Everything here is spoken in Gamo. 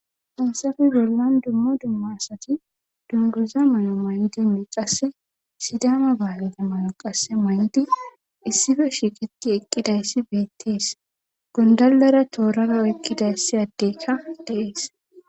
Hayssape bollan dumma dumma asati dunguza mayo mayidinne qasse sidama bahileta mayo mayidi issippe shiiqeti eqqidayssi beetees. gondalera torara oykkida addekka de'es.